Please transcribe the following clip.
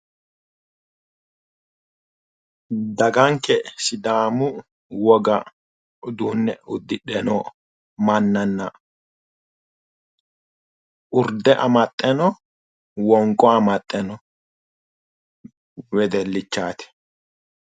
Daganke sidaamu woga uduunne uddidhe no mannanna urde amaxxe no, wonqo amaxxe noo wedellichaati.